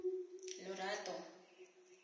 lorato